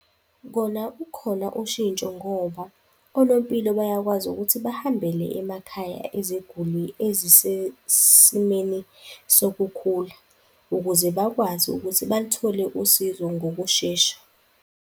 Kona ukhona ushintsho ngoba onompilo bayakwazi ukuthi bahambele emakhaya eziguli ezisesimweni sokukhula ukuze bakwazi ukuthi balithole usizo ngokushesha.